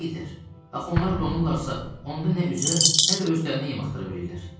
Axı onlar donurlarsa, onda nə üzə, nə də özlərini yem axtara bilirlər.